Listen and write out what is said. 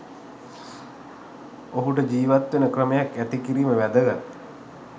ඔහුට ජිවත් වෙන ක්‍රමයක් ඇති කිරීම වැදගත්